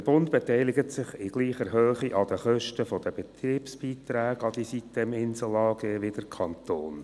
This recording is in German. Der Bund beteiligt sich in gleicher Höhe an den Kosten der Betriebsbeiträge an die sitem-Insel AG wie der Kanton.